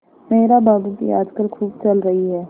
मेहरा बाबू की आजकल खूब चल रही है